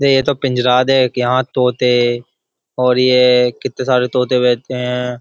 ये तो पिंजराद है यहाँ तोते और ये कितने सारे तोते रहते हैं।